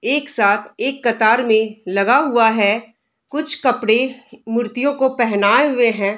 एक साथ एक कतार मे लगा हुआ है कुछ कपड़े मूर्तियों को पहनाए हुए हैं।